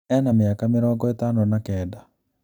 Ena mĩaka mĩrongo ĩtano na kenda